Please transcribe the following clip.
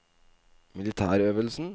militærøvelsen